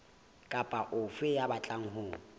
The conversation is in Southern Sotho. kapa ofe ya batlang ho